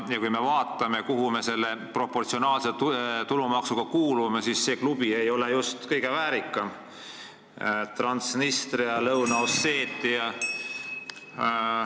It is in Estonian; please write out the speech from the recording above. Kui me vaatame, kuhu klubisse me oma proportsionaalse tulumaksuga kuulume, siis see ei ole just kõige väärikam: Transnistria, Lõuna-Osseetia.